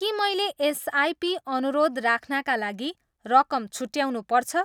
के मैले एसआइपी अनुरोध राख्नाका लागि रकम छुट्याउनुपर्छ?